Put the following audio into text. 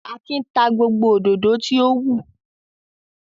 Akin ta gbogbo òdòdó tí ó wù.